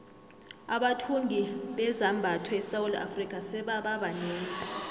abathungi bezambatho esewula afrika sebaba banengi